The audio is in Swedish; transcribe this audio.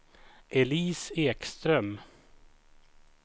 Elise Ekström